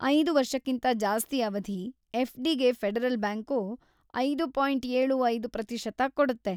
ಐದು ವರ್ಷಕಿಂತಾ‌ ಜಾಸ್ತಿ ಅವಧಿ ಎಫ್.ಡಿ.ಗೆ ಫೆಡರಲ್‌ ಬ್ಯಾಂಕು. ಐದು ಪಾಯಿಂಟ್ ಏಳು ಐದು ಪ್ರತಿಶತ ಕೊಡುತ್ತೆ.